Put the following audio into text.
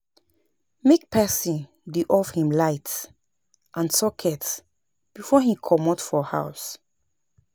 Make person de off him lights and socets before him comot for house